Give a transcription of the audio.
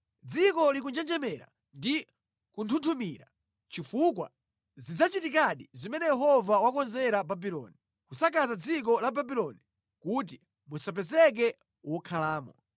Dziko likunjenjemera ndi kunthunthumira, chifukwa zidzachitikadi zimene Yehova wakonzera Babuloni; kusakaza dziko la Babuloni kuti musapezeke wokhalamo.